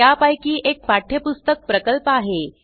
त्यापैकी एक पाठ्यपुस्तक प्रकल्प आहे